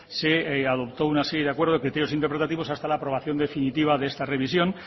se adoptó una serie de acuerdos de criterios interpretativos hasta la aprobación definitiva de esta revisión